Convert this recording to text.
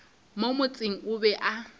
mo motseng o be a